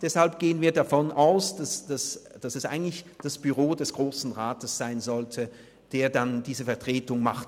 Deshalb gehen wir davon aus, dass es eigentlich das Büro des Grossen Rats sein sollte, das diese Vertretung macht.